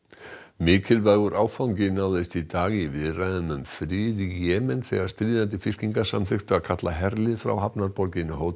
mikilvægur áfangi náðist í dag í viðræðum um frið í Jemen þegar stríðandi fylkingar samþykktu að kalla herlið frá hafnarborginni